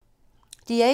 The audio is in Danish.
DR1